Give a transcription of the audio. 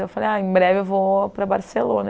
Eu falei, ai em breve eu vou para Barcelona.